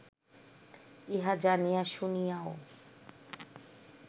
ইহা জানিয়া শুনিয়াও